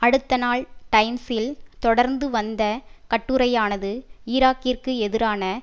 அடுத்தநாள் டைம்ஸில் தொடர்ந்து வந்த கட்டுரையானது ஈராக்கிற்கு எதிரான